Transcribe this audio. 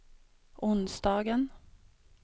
onsdagen